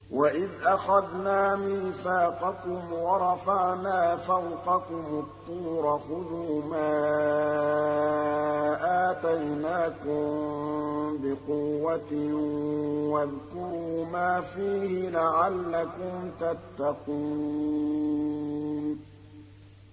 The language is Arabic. وَإِذْ أَخَذْنَا مِيثَاقَكُمْ وَرَفَعْنَا فَوْقَكُمُ الطُّورَ خُذُوا مَا آتَيْنَاكُم بِقُوَّةٍ وَاذْكُرُوا مَا فِيهِ لَعَلَّكُمْ تَتَّقُونَ